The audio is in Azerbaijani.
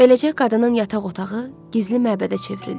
Beləcə, qadının yataq otağı gizli məbədə çevrildi.